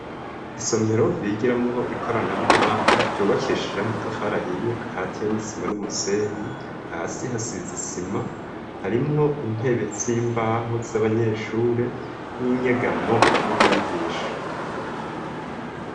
Isomero bigiramwo ikoranabuhanga ryubakishije amatafari ahiye akatse n'isima n'umusenyi hasi hasize isima harimwo intebe z'imbaho z'abanyeshuri n'inyegamo y'umwigisha.